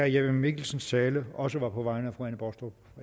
jeppe mikkelsens tale også var på vegne